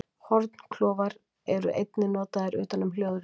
Hornklofar eru einnig notaðir utan um hljóðritun.